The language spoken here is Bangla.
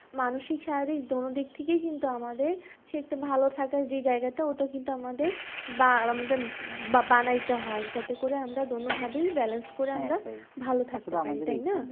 মানুষিক শারীরিক দোনো দিক থেকেই কিন্তু আমাদের সেই একটা ভালো থাকার জায়গাটা ওটা কিন্তু আমাদের আহ বানাইতে হয়। যাতে করে আমরা দোনোভাবেই balance করে আমরা ভালো থাকতে পারি। তাই না?